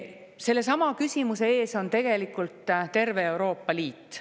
Sellesama küsimuse ees on tegelikult terve Euroopa Liit.